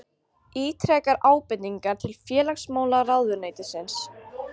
Ítrekar ábendingar til félagsmálaráðuneytisins